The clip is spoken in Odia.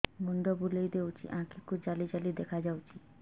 ମୁଣ୍ଡ ବୁଲେଇ ଦେଉଛି ଆଖି କୁ ଜାଲି ଜାଲି ଦେଖା ଯାଉଛି